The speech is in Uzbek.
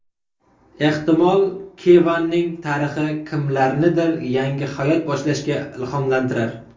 Ehtimol, Kevanning tarixi kimlarnidir yangi hayot boshlashga ilhomlantirar.